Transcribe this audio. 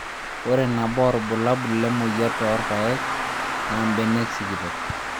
Ore nabo oo irbulabul lemoyian toorpayek naa mbenek sikitok